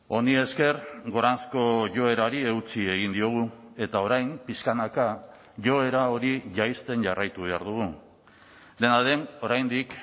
honi esker goranzko joerari eutsi egin diogu eta orain pixkanaka joera hori jaisten jarraitu behar dugu dena den oraindik